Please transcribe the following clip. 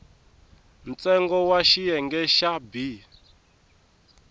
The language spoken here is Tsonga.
ntsengo wa xiyenge xa b